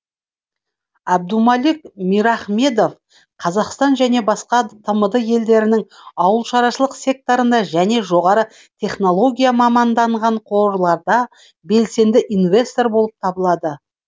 абдумалик мирахмедов қазақстан және басқа тмд елдерінің ауылшаруашылық секторында және жоғары технологияға маманданған қорларда белсенді инвестор болып табылады